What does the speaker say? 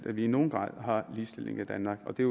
at vi i nogen grad har ligestilling i danmark og det